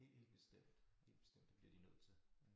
Helt helt bestemt helt bestemt det bliver de nødt til